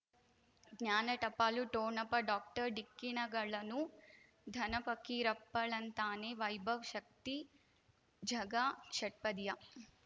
ಜ್ಞಾನ ಟಪಾಲು ಠೊಣಪ ಡಾಕ್ಟರ್ ಢಿಕ್ಕಿ ಣಗಳನು ಧನ ಫಕೀರಪ್ಪ ಳಂತಾನೆ ವೈಭವ್ ಶಕ್ತಿ ಝಗಾ ಷಟ್ಪದಿಯ